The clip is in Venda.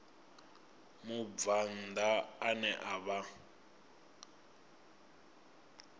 mubvann ḓa ane a vha